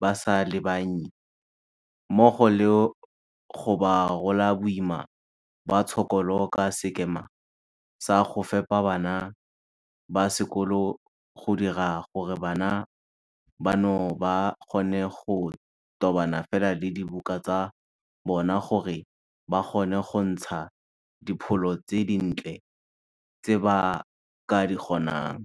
ba sa le bannye, mmogo le go ba rola boima ba tshokolo ka sekema sa go fepa bana ba sekolo go dira gore bana bano ba kgone go tobana fela le dibuka tsa bona gore ba kgone go ntsha dipholo tse dintle tse ba ka di kgonang.